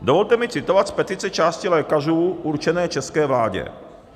Dovolte mi citovat z petice části lékařů určené české vládě.